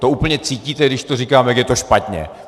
To úplně cítíte, když to říkám, jak je to špatně.